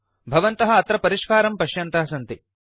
भवन्तः अत्र परिष्कारं पश्यन्तः सन्ति